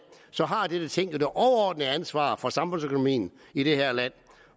har dette ting jo det overordnede ansvar for samfundsøkonomien i det her land